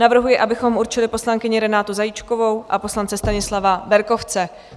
Navrhuji, abychom určili poslankyni Renátu Zajíčkovou a poslance Stanislava Berkovce.